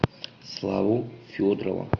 славу федорова